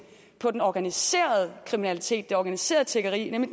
på den organiserede kriminalitet det organiserede tiggeri nemlig